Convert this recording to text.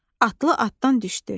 Atlı atdan düşdü.